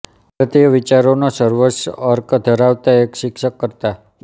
ભારતીય વિચારોનો સર્વોચ્ચ અર્ક ધરાવતા એક શિક્ષક કરતા